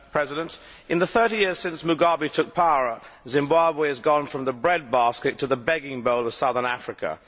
Mr President, in the 30 years since Mugabe took power, Zimbabwe has changed from the breadbasket to the begging bowl of southern Africa.